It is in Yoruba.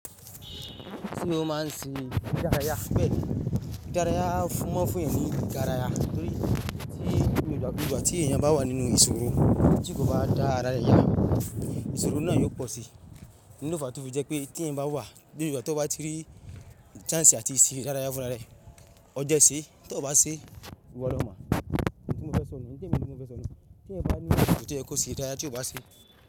Kí ni wọ́n máà ń sin ìdárayá pẹ̀lú? Ìdárayá fún mọ́fúnni ni ìdárayá torí tí gbogbo ìgbà tí ẹ̀yin bá wà nínú ìṣòro, tí kò bá dára rẹ yá, ìṣòro náà yóò pọ̀ si. Ní òfò àtúfọ̀ jẹ́ pé tí ẹ̀yin bá wà gbogbo ìgbà tí wọ́n bá ti rí chnace si atí ṣe dárayá fúnra rẹ, ọ jẹ́ ṣé tọ bá ṣe ìwọ̀lọ́mọ. Níbo ni mo fẹ́ sọnù? Níbo ni mo fẹ́ sọnù? Tí ẹ̀yin bá ní ibi tí ẹ kó sínú dárayá tí ò bá ṣe.